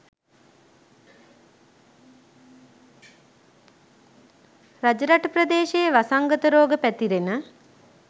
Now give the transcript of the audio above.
රජරට ප්‍රදේශයේ වසංගත රෝග පැතිරෙන